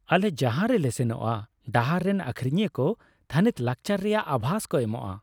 ᱟᱞᱮ ᱡᱟᱦᱟᱸ ᱨᱮᱞᱮ ᱥᱮᱱᱚᱜᱼᱟ ᱰᱟᱦᱟᱨ ᱨᱮᱱ ᱟᱹᱠᱷᱨᱤᱧᱤᱭᱟᱹ ᱠᱚ ᱛᱷᱟᱹᱱᱤᱛ ᱞᱟᱠᱪᱟᱨ ᱨᱮᱭᱟᱜ ᱟᱵᱷᱟᱥ ᱠᱚ ᱮᱢᱚᱜᱼᱟ ᱾